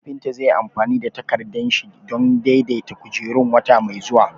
Kafinta zai yi amfani da takardan yashi don daidaita kujerun wata mai zuwa